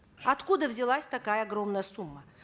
откуда взялась такая огромная сумма